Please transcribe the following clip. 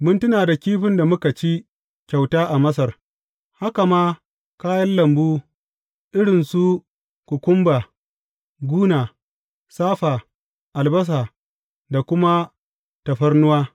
Mun tuna da kifin da muka ci kyauta a Masar, haka ma kayan lambu irin su kukumba, guna, safa, albasa da kuma tafarnuwa.